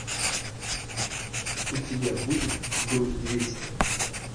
у тебя будет груз двести